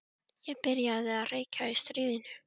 Ég byrjaði að reykja í stríðinu.